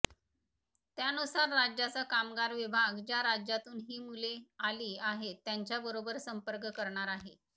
त्यानुसार राज्याचा कामगार विभाग ज्या राज्यातून ही मुले आली आहेत त्यांच्याबरोबर संपर्क करणार आहे